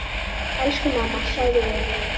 Elsku mamma, sofðu vel.